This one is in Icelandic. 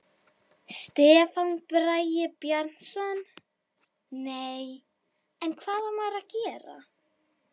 Stefán Bragi Bjarnason: Nei, en hvað á maður að gera?